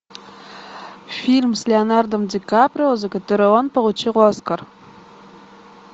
фильм с леонардо ди каприо за который он получил оскар